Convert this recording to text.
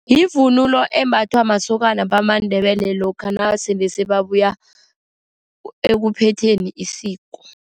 Yivunulo embathwa masokana wamaNdebele lokha nasele sebabuya ekuphetheni isiko.